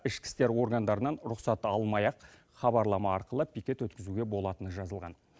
ішкі істер органдарынан рұқсат алмай ақ хабарлама арқылы пикет өткізуге болатыны жазылған